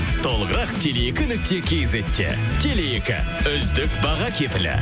толығырақ теле екі нүкте кизетте теле екі үздік баға кепілі